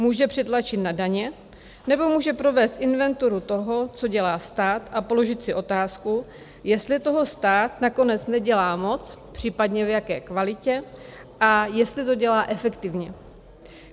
Může přitlačit na daně, nebo může provést inventuru toho, co dělá stát, a položit si otázku, jestli toho stát nakonec nedělá moc, případně v jaké kvalitě a jestli to dělá efektivně.